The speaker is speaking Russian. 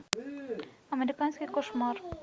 американский кошмар